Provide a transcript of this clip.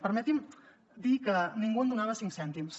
permeti’m dir que ningú en donava cinc cèntims